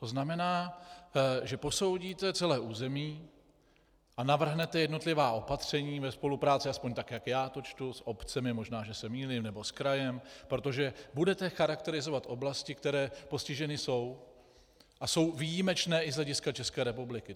To znamená, že posoudíte celé území a navrhnete jednotlivá opatření ve spolupráci, aspoň tak jak já to čtu, s obcemi, možná že se mýlím, nebo s krajem, protože budete charakterizovat oblasti, které postiženy jsou a jsou výjimečné i z hlediska České republiky.